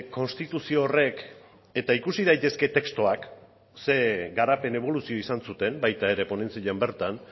konstituzio horrek eta ikusi daitezke testuak ze garapen eboluzio izan zuten baita ere ponentzian bertan